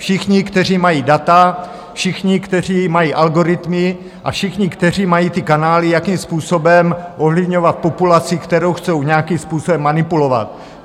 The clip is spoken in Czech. Všichni, kteří mají data, všichni, kteří mají algoritmy, a všichni, kteří mají ty kanály, jakým způsobem ovlivňovat populaci, kterou chtějí nějakým způsobem manipulovat.